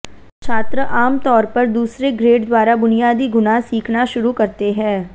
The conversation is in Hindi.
छात्र आमतौर पर दूसरे ग्रेड द्वारा बुनियादी गुणा सीखना शुरू करते हैं